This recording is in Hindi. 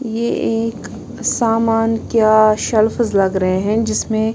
ये एक सामान क्या शल्फ लग रहे हैं जिसमें--